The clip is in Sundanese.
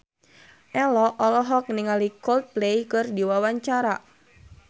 Ello olohok ningali Coldplay keur diwawancara